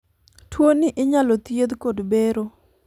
tuono inyalo thiedh kod bero